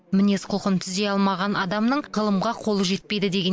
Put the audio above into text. мінез құлқын түзей алмаған адамның ғылымға қолы жетпейді деген